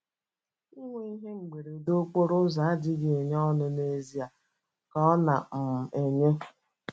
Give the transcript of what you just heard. Inwe ihe mberede okporo ụzọ adịghị enye ọṅụ n’ezie, ka ọ̀ na - um enye?